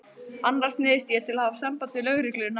Annars neyðist ég til að hafa samband við lögregluna.